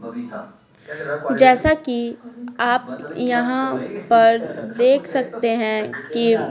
जैसा कि आप यहाँ पर देख सकते हैं कि--